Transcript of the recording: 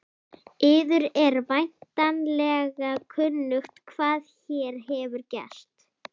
Yður er væntanlega kunnugt hvað hér hefur gerst.